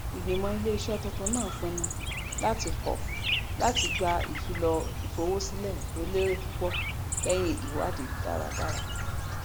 ìgbìmọ iléiṣẹ tuntun náà pinnu láti kọ láti gba ìfilọ ìfowósílẹ tó lérè púpọ lẹyìn ìwádìí dáradára